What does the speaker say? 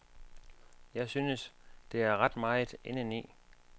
Jeg synes, der er ret meget indeni.